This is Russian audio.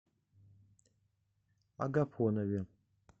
агафонове